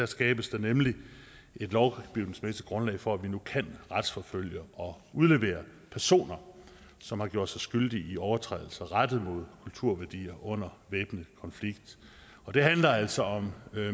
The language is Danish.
skabes der nemlig et lovgivningsmæssigt grundlag for at vi nu kan retsforfølge og udlevere personer som har gjort sig skyldige i overtrædelser rettet mod kulturværdier under væbnet konflikt det handler altså om